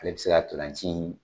Ale bɛ se ka ntolanci in.